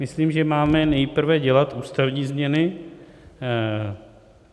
Myslím, že máme nejprve dělat ústavní změny.